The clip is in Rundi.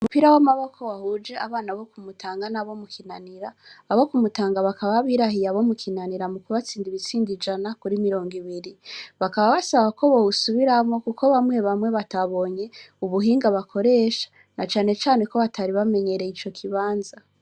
Umupira w'amaboko wahuje abana bo kumutanga n'abo mukinanira abo kumutanga bakaba abirahiye abo mukinanira mu kubatsinda ibitsindi jana kuri mirongo ibiri bakaba basaba ko bowusubiramwo, kuko bamwe bamwe batabonye ubuhinga bakoresha na canecane ko batari bamenyereye ico kibanza.